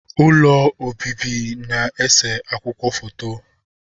Ụlọ obibi na ese akwụkwọ foto